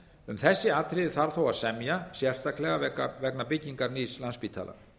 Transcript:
um þessi atriði þarf þó að semja sérstaklega vegna byggingar nýs landspítala